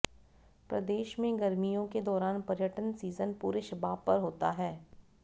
प्रदेश में गर्मियों के दौरान पर्यटन सीजन पूरे शबाब पर होता है